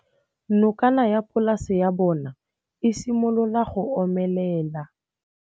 Nokana ya polase ya bona, e simolola go omelela.